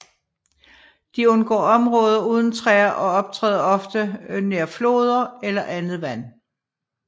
De undgår områder uden træer og optræder ofte nær floder eller andet vand